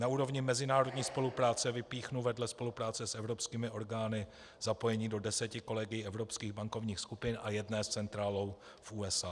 Na úrovni mezinárodní spolupráce vypíchnu vedle spolupráce s evropskými orgány zapojení do deseti kolegií evropských bankovních skupin a jedné s centrálou v USA.